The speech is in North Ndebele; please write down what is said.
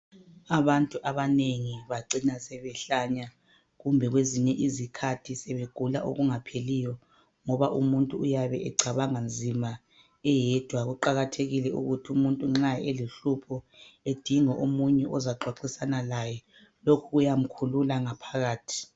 Abantu abanengi bacina sebehlanya kumbe kwezinye izikhathi sebegula okungapheliyo ngoba umuntu uyabe ecabanga nzima eyedwa. Kuqakathekile ukuthi umuntu nxa. elohlupho edinge omunye ozokuxoxisana laye. Lokhu kuyamkhulula ngaphakathi.